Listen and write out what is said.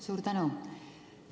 Suur tänu!